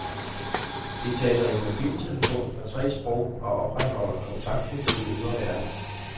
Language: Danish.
De taler i mobiltelefon på tre sprog og opretholder kontakten til den ydre verden.